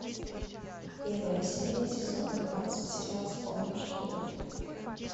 первая серия сезон двенадцать сериал вспомни что будет